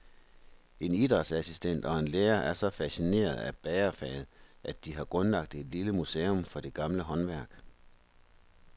En idrætsassistent og en lærer er så fascinerede af bagerfaget, at de har grundlagt et lille museum for det gamle håndværk.